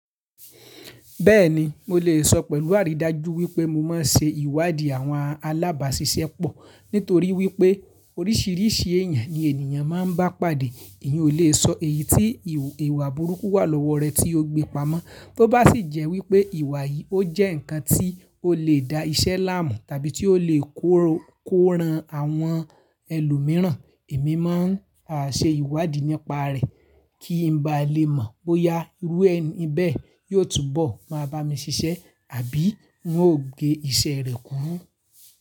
Bẹ́ẹ̀ni, mo lè sọ pẹ̀lú àrídájú wípé mo máa ń ṣe ìwádìí àwọn alábàáṣiṣẹ́ pọ̀ nítorí wípé oríṣiríṣi èèyàn ni ènìyàn máa ń bá pàdé. Èyan o le sọ èyí tí ìwà burúkú wà lọ́wọ́ rẹ tí ó gbé pamọ́. Tó bá sì jẹ́ wípé ìwà yìí ó jẹ́ ǹkan tí ó lè da iṣẹ́ láàmú tàbí tí ó lè kóran àwọn ẹlòmíràn, èmi máa ń ṣe ìwádìí nípa rẹ̀ kí n ba lè mọ̀ bóyá irú ẹni bẹ́ẹ̀ yóò túbọ̀ máa bá mi ṣiṣẹ́ àbí ń ò gé iṣẹ́ rẹ̀ kúrú.